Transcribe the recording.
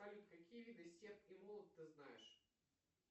салют какие виды серп и молот ты знаешь